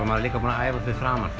maður líka búinn að æfa fyrir framan